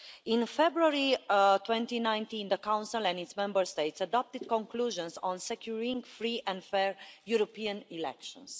In February 2019, the Council and its Member States adopted conclusions on securing free and fair European elections.